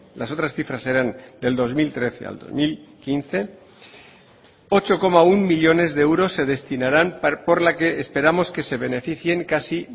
las otras cifras eran del dos mil trece al dos mil quince ocho coma uno millónes de euros se destinarán por la que esperamos que se beneficien casi